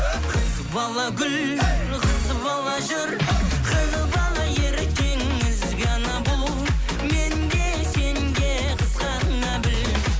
қыз бала гүл қыз бала жүр қыз бала ертең ізгі ана бұл мен де сен де қызғана біл